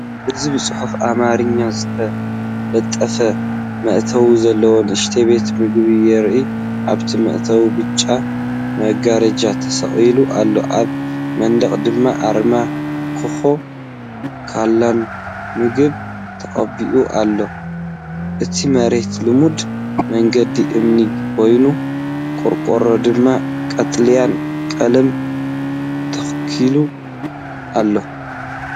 እዚ ብጽሑፍ ኣምሓርኛ ዝተለጠፈ መእተዊ ዘለዎ ንእሽቶ ቤት ምግቢ የርኢ። ኣብቲ መእተዊ ብጫ መጋረጃ ተሰቒሉ ኣሎ፡ኣብ መንደቕ ድማ ኣርማ ኮካ ኮላን ምግብን ተቐቢኡ ኣሎ፣ እቲ መሬት ልሙድ መንገዲ እምኒ ኮይኑ፡ ቆርቆሩ ድማ ቀጠልያ ቀለም ተለኺዩ ኣሎ።